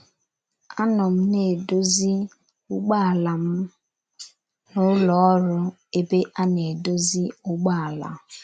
Anọ m na - edozi ụgbọala m n’ụlọ ọrụ ebe a na - edozi ụgbọala.